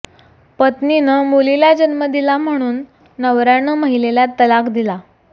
पत्नीनं मुलीला जन्म दिला म्हणून म्हणून नवऱ्यानं महिलेला तलाक दिला